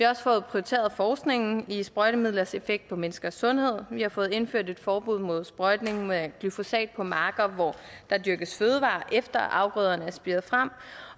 også fået prioriteret forskningen i sprøjtemidlers effekt på menneskers sundhed vi har fået indført et forbud mod sprøjtning med glyfosat på marker hvor der dyrkes fødevarer efter at afgrøderne er spiret frem